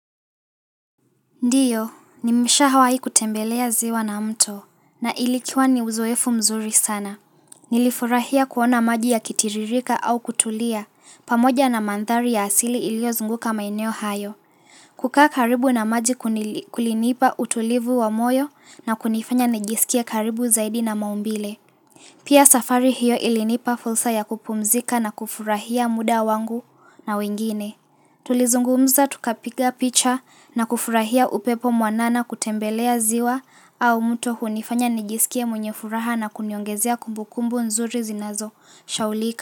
Ndiyo, nimeshawai kutembelea ziwa na mto, na ilikuwa ni uzoefu mzuri sana. Nilifurahia kuona maji ya kitiririka au kutulia, pamoja na mandhari ya asili ilio zunguka maeneo hayo. Kukaa karibu na maji kulinipa utulivu wa moyo na kunifanya nijisikie karibu zaidi na maumbile. Pia safari hiyo ilinipa fursa ya kupumzika na kufurahia muda wangu na wengine. Tulizungumza tukapiga picha na kufurahia upepo mwanana kutembelea ziwa au mto hunifanya nijisikie mwenye furaha na kuniongezea kumbukumbu nzuri zinazo sahaulika.